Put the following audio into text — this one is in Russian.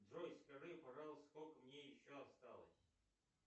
джой скажи пожалуйста сколько мне еще осталось